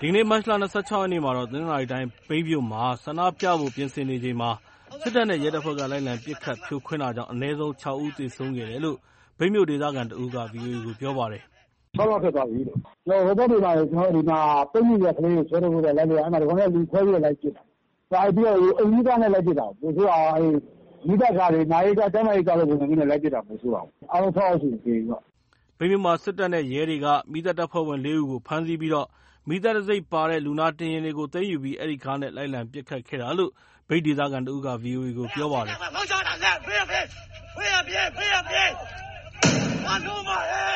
ဒီကနေ့ မတ်လ ၂၆ ရက်နေ့ တနင်္သာရီတိုင်း မြိတ်မြို့မှာ ဆန္ဒပြပွဲဖို့ ပြင်ဆင်နေချိန် စစ်တပ်နဲ့ ရဲတပ်ဖွဲ့တွေက လိုက်လံပစ်ခတ် ဖြိုခွင်းရာ အနည်းဆုံး ၆ ဦး သေဆုံးရတယ်လို့ မြိုတ်ဒေသခံ တစ်ဦးက ဗွီအိုအေကို ပြောပါတယ်။ “ ၆ ယောက်ဖြစ်သွားပြီးလို့။ ဟိုဘက်တွေမှာ ကျနော်တို့ ပိတ်မိနေတဲ့ ကလေးတွေ ဆွဲထုတ်ဖို့ လိုက်လုပ်တာ ဒီကောင်တွေက လူခွဲပြီး လိုက်ပစ်တာ ဘာတွေနဲ့ပစ်လဲ အိမ်စီးကားနဲ့ လိုက်ပစ်တာ ပိုဆိုးတာက အဲ့မီးသတ်ကားတွေ နာရေးကား ကျန်းမာရေးကားလိုပုံစံမျိုးနဲ့ လိုက်ပစ်တာ ပိုဆိုးတာပေါ့ အားလုံး ၆ ယောက်ရှိပြီ။” မြိတ်မြို့မှာ စစ်တပ်နဲ့ ရဲတွေက မီးသတ်တပ်ဖွဲ့ဝင် ၄ ဦးကို ဖမ်းဆီးပြီး မီးသတ်တံဆိပ်ပါတဲ့ လူနာတင်ယာဉ်တွေကို သိမ်းယူပြီး အဲ့ဒီကားနဲ့ လိုက်လံပစ်ခတ်နေတာလို့ မြိတ်ဒေသခံက ဗွီအိုအေကို ပြောပါတယ်။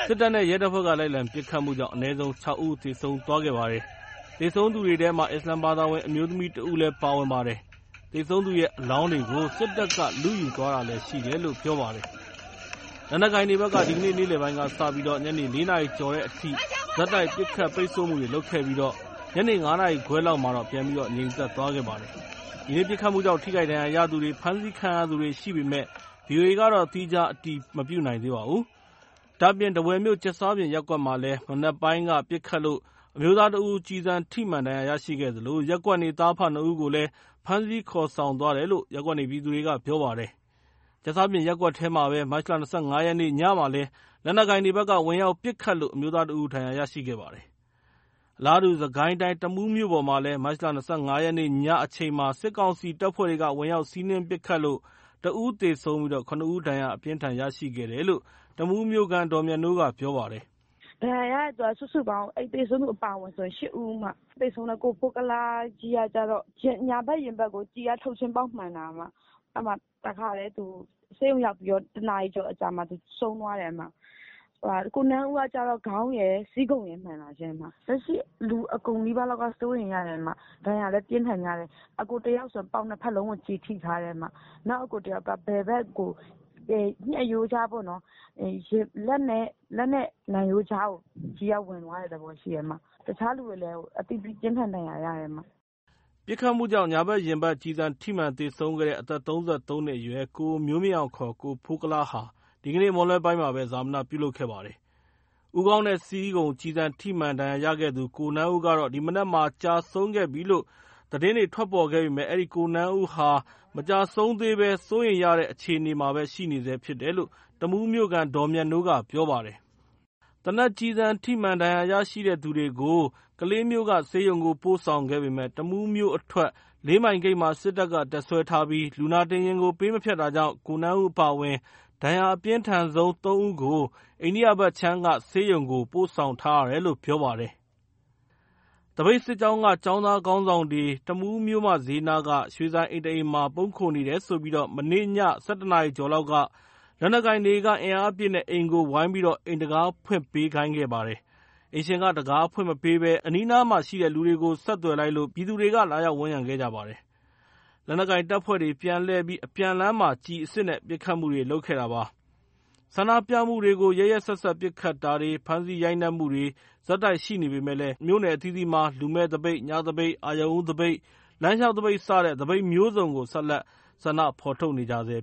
စစ်တပ်နဲ့ ရဲတပ်ဖွဲ့က လိုက်လံပစ်ခတ်မှုကြောင့် အနည်းဆုံး ၆ ဦး သေဆုံးခဲ့ပါတယ်။ သေဆုံးသူထဲက အစ္စလာမ်ဘာသာဝင် အမျိုးသမီး တစ်ဦးလည်း ပါဝင်ပါတယ်။ သေဆုံးသူရဲ့ အလောင်းတွေကို စစ်တပ်က လုယူသွားတာလည်း ရှိတယ်လို့ ပြောပါတယ်။ လက်နက်ကိုင်တွေဘက်က ဒီကနေ့ နေ့လယ်ပိုင်းကစပြီး ည ၄ နာရီကျော်အထိ ဆက်တိုက်ပစ်ခတ် ပိတ်ဆို့မှုတွေ လုပ်ခဲ့ပြီး ညနေ ၅ နာရီခွဲလောက်မှာ ပြန်ငြိမ်သွားပါတယ်။ ဒီနေ့ ပစ်ခတ်မှုကြောင့် ထိခိုက်ဒဏ်ရာရှိသူတွေ ဖမ်းဆီးခံရသူတွေ ရှိပေမယ့် ဗွီအိုအေက သီးခြားအတည်မပြုနိုင်သေးပါဘူး။ ဒါအပြင် ထားဝယ်မြို့ ကြက်စားပြင်ရပ်ကွက်မှာ မနက်ပိုင်းက ပစ်ခတ်လို့ အမျိုးသားတစ်ဦး ကျည်ထိမှန်ဒဏ်ရာရရှိသလို ရပ်ကွက်နေ သားအဖ နှစ်ဦးကိုလည်း ဖမ်းဆီးခေါ်ဆောင်သွားတယ်လို့ရပ်ကွက်နေပြည်သူတွေက ပြောပါတယ်။ ကြက်စားပြင်ရပ်ကွက်မှာပဲ မတ်လ ၂၅ ရက်နေ့ ညမှာလည်း လက်နက်ကိုင်တွေဘက်က ဝင်ရောက်ပစ်ခတ်လို့ အမျိုးသားတစ်ဦး ဒဏ်ရာရှိခဲ့ပါတယ်။ အလာတူး စစ်ကိုင်းတိုင်း တမူးမြို့ပေါ်မှာ မတ်လ ၂၅ ရက်နေ့ ညအချိန်မှာ စစ်ကောင်စီတပ်ဖွဲ့တွေက ဝင်ရောက် စီးနင်းပစ်ခတ်လို့ တစ်ဦးသေဆုံးပြီး ၇ ဦးဒဏ်ရာအပြင်းအထန် ရရှိတယ်လို့ တမူးမြို့ခံ ဒေါ်မြတ်နိုးက ပြောပါတယ်။ “ဒဏ်ရာရတဲ့သူ စုစုပေါင်း အဲ့သေဆုံးသူအပါအဝင်ဆို ၈ ဦး၊ သေဆုံးတဲ့ ကိုဖိုးကုလားကြီးကကျတော့ ညာဘက်ရင်ဘတ်ကို ကျည်က ထုတ်ချင်းပေါက်မှန်တာ အဲ့မှာတစ်ခါတည်း သူဆေးရုံရောက်ပြီးတော့ တစ်နာရီကျော်အကြာမှာ သူဆုံးသွားတယ်၊ ကိုနန်းဦးကကျတော့ ခေါင်းရယ်၊ ဆီးခုံရယ်မှန်တာရှင့်။ လက်ရှိလူအကုန်နီးပါးလောက်က စိုးရိမ်ရတယ်။ ဒဏ်ရာလည်း ပြင်းထန်ကြတယ်။ အစ်ကိုတစ်ယောက်ဆို ပေါင်နှစ်ဖက်လုံးကို ကျည်ထိထားတယ်။ နောက်အစ်ကိုတစ်ယောက်က ဘယ်ဘက်ကို ညှပ်ရိုးကြားပေါ့နော်၊ လက်နဲ့နံရိုးကြားကို ကျည်ကဝင်သွားတဲ့သဘောရှိတယ် တခြားလူတွေလည်း အသီးသီးပြင်းထန်ဒဏ်ရာရတယ်။” ပစ်ခတ်မှုကြောင့် ညာဘက်ရင်ဘတ် ကျည်ထိမှန် သေဆုံးခဲ့တဲ့ အသက် ၃၃ နှစ်အရွယ် ကိုမျိုးမြင့်အောင် ကိုဖိုးကုလားဟာ ဒီကနေ့ မွန်းလွဲပိုင်းမှာ ဈာပနပြုလုပ်ခဲ့ပါတယ်။ ဦးခေါင်းနဲ့ ဆီးခုံ ကျည်ထိမှန် ဒဏ်ရာရထားသူ ကိုနန်းဦးကတော့ ဒီမနက်မှာ ကျဆုံးပြီးလို့ သတင်းတွေ ထွက်ပေါ်နေပါတယ်။ အဲ့ဒီ ကိုနန်းဦးကတော့ မကျဆုံးသေဘဲ စိုးရိမ်ရတဲ့ အခြေအနေရှိနေတယ်လို့ တမူးမြို့ခံ ဒေါ်မြတ်နိုးကပြောပါတယ်။ သေနတ်ကျည်ထိမှန် ဒဏ်ရာရှိသူများကို ကလေးဆေးရုံသို့ ပို့ဆောင်ခဲ့ပေမယ့် တမူးမြို့အထွက် လေးမိုင်ဂိတ်မှာ စစ်တပ်က တပ်စွဲထားပြီး လူနာတင်ယာဉ်ကို ပေးမဖြတ်တာကြောင့် ကိုနန်းဦးအပါအဝင် ဒဏ်ရာအပြင်းထန်ဆုံး သုံးဦးကိုတော့ အိန္ဒိယဘက်ခြမ်းက ဆေးရုံကို ပို့ဆောင်ထားရတယ်လို့ ပြောပါတယ်။ သပိတ်စစ်ကြောင်းက ကျောင်းသားခေါင်းဆောင်တွေတမူးမြို့မဈေးနားက ရွှေဆိုင်အိမ်တစ်အိမ်မှာ ပုန်းခိုနေတယ်ဆိုပြီးမနေ့ည ၁၁ နာရီကျော် လက်နက်ကိုင်တွေက အင်အားအပြည့်နဲ့ အိမ်ကို ဝိုင်ပြီး အိမ်တံခါးဖွင့်ပေးခိုင်းတာပါ။ အိမ်ရှင်က တံခါးမဖွင့်ပေးဘဲ အနီးနားကလူကို ဆက်သွယ်လိုက်လို့ ပြည်သူတွေက လာရောက်ဝန်ရံခဲ့ပါတယ်။ လက်နက်ကိုင်တပ်ဖွဲ့တွေ ပြန်လှည့်ပြီး အပြန်လမ်းမှာ ကျည်အစစ်နဲ့ ပစ်ခတ်မှုတွေ လုပ်ခဲ့တာပါ။ ဆန္ဒပြမှုတွေကို ရက်ရက်စက်စက် ပစ်ခတ်တာတွေ ဖမ်းဆီးရိုက်နှက်မှုတွေ ဆက်တိုက်ရှိနေပေမယ့် မြို့နယ်အသီးသီးမှာ လူမဲ့သပိတ်၊ ညသပိတ်၊ အရုဏ်ဦးသပိတ်၊ လမ်းလျှောက်သပိတ် စတဲ့ သပိတ်မျိုးစုံ ဆက်လက် ဆန္ဒထုတ်ဖော်နေကြဆဲ